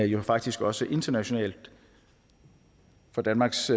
jo faktisk også internationalt for danmarks